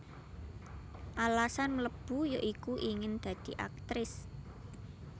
Alasan mlebu ya iku ingin dadi Aktris